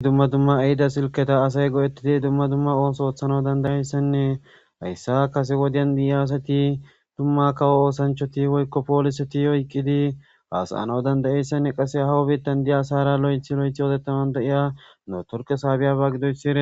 dumma dumma ahida silketa asay go7ettidi dumma dumma ohoso oothana dandayeyssenne hayssa kase wodyan biyaasati tumma kawo oosanchoti woykko poolise ti oyqqidi haasaano dandayeyssenne qasse hawo biittan di7a asara lo7ethi lo7ethi odetaman dayiya nootorke saabiyaba gidoyssire